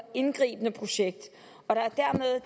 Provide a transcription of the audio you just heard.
indgribende projekt og